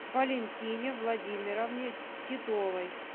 валентине владимировне титовой